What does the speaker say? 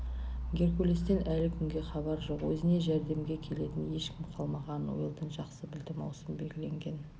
геркулестен әлі күнге хабар жоқ өзіне жәрдемге келетін ешкім қалмағанын уэлдон жақсы білді маусым белгіленген